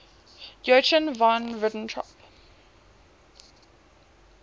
joachim von ribbentrop